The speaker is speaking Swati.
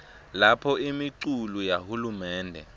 lapho imiculu yahulumende